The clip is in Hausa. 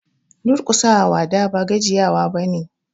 Duƙusa wa wada ba gajiya wa ba ne.